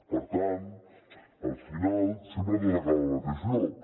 per tant al final sempre tot acaba al mateix lloc